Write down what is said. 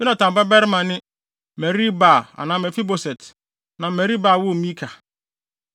Yonatan babarima ne: Merib-Baal (anaa Mefiboset) na Merib-Baal woo Mika.